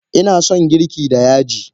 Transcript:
Ina son girki da yaji.